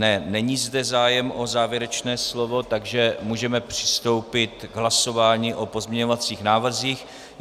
Ne, není zde zájem o závěrečné slovo, takže můžeme přistoupit k hlasování o pozměňovacích návrzích.